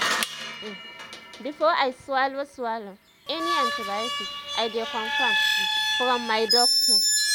um before i swallow swallow any antibiotic i dey confirm um from my doctor.